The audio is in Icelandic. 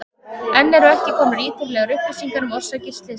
Enn eru ekki komnar ítarlegar upplýsingar um orsakir slyssins.